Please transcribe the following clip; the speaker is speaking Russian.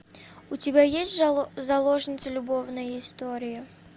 у тебя есть заложница любовная история